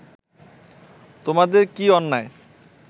তোমাদের কি অন্যায়